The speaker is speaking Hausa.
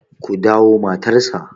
ku dawo matarsa!